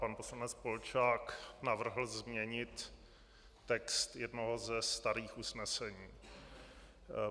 Pan poslanec Polčák navrhl změnit text jednoho ze starých usnesení.